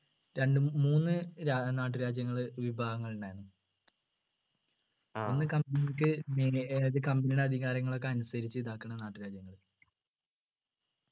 രണ്ടു മൂ മൂന്ന് രാ നാട്ടുരാജ്യങ്ങളെ വിഭാഗങ്ങളുണ്ടായിരുന്നു ഒന്ന് company ക്ക് ഏർ company യുടെ അധികാരങ്ങളൊക്കെ അനുസരിച്ച് ഇതാകുന്ന നാട്ടുരാജ്യങ്ങൾ